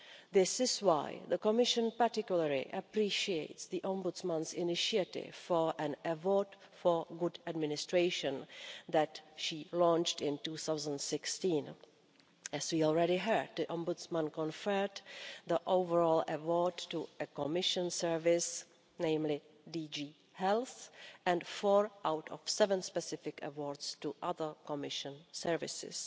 This is why the Commission particularly appreciates the Ombudsman's initiative for an award for good administration that she launched in 2016. As we already heard, the Ombudsman conferred the overall award to a Commission service, namely DG Health, and four out of seven specific awards to other Commission services.